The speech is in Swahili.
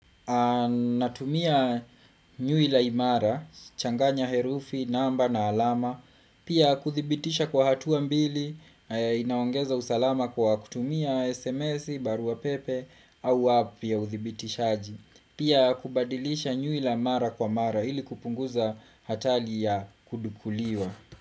Ninatumia nyuila imara, changanya herufi, namba na alama Pia kuthibitisha kwa hatuwa mbili, inaongeza usalama kwa kutumia SMS barua pepe au app ya uthibitishaaji Pia kubadilisha nyuila mara kwa mara ili kupunguza hatali ya kudukuliwa.